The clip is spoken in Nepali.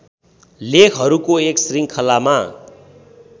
लेखहरूको एक श्रृङ्खलामा